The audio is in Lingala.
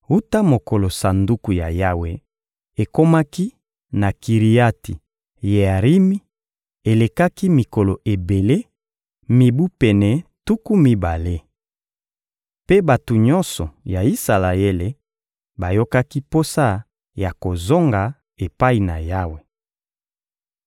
Wuta mokolo Sanduku ya Yawe ekomaki na Kiriati-Yearimi, elekaki mikolo ebele: mibu pene tuku mibale. Mpe bato nyonso ya Isalaele bayokaki posa ya kozonga epai na Yawe.